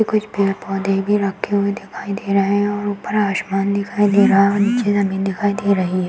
ये कुछ पेड़-पौधे ये भी रखे हुए दिखाई दे रहे हैं और ऊपर आसमान दिखाई दे रहा है और नीचे ज़मीन दिखाई दे रही है।